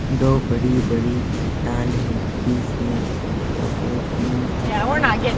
दो बड़ी-बड़ी चट्टानें बीच में छोटे तीन चट्टान हैं।